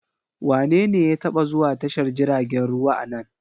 Wanene ya taba zuwa tashar jiragen ruwa a nan?